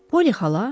Polly xala?